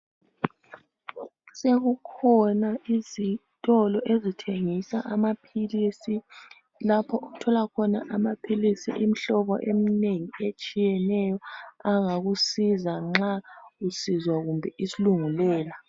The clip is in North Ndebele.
Sekukhona izitolo ezithengisa amaphilisi .Lapho othola khona amaphilisi Imihlobo emnengi etshiyeneyo angakusiza nxa usizwa kumbe isilungulela .